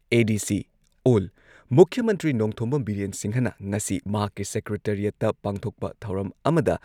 ADC ꯑꯣꯜ ꯃꯨꯈ꯭ꯌ ꯃꯟꯇ꯭ꯔꯤ ꯅꯣꯡꯊꯣꯝꯕꯝ ꯕꯤꯔꯦꯟ ꯁꯤꯡꯍꯅ ꯉꯁꯤ ꯃꯍꯥꯛꯀꯤ ꯁꯦꯀ꯭ꯔꯦꯇꯔꯤꯌꯦꯠꯇ ꯄꯥꯡꯊꯣꯛꯄ ꯊꯧꯔꯝ ꯑꯃꯗ